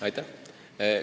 Aitäh!